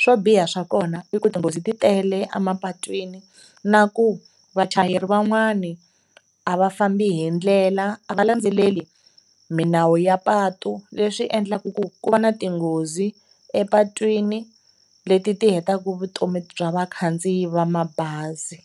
Swo biha swa kona i ku tinghozi ti tele emapatwini na ku vachayeri van'wana a va fambi hi ndlela, a va landzeleli milawu ya patu leswi endlaka ku ku va na tinghozi epatwini leti ti hetaka vutomi bya vakhandziyi va mabazi.